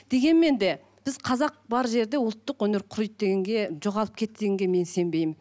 дегенмен де біз қазақ бар жерде ұлттық өнер құриды дегенге жоғалып кетті дегенге мен сенбеймін